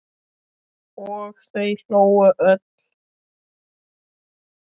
Og þau hlógu öll.